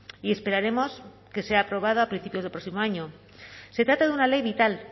y esperaremos que sea aprobado a principios del próximo año se trata de una ley vital